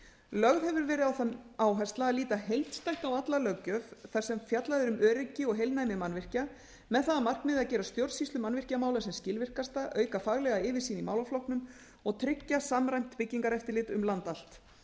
lögð hefur verið á það áhersla að líta heildstætt á alla löggjöf þar sem fjallað er um öryggi og heilnæmi mannvirkja með það að markmiði að gera stjórnsýslu mannvirkjamála sem skilvirkasta auka faglega yfirsýn í málaflokknum og tryggja samræmt byggingareftirlit um land allt